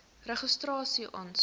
registrasieaansoek